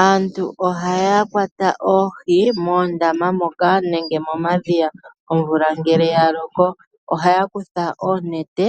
Aantu ohaa yakwata ohii moondama moka nenge mo madhiya omvula ngele yaloko, ohaya kutha onete